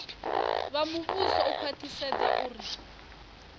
vha muvhuso u khwaṱhisedza uri